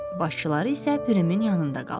Başçıları isə Pirimin yanında qalır.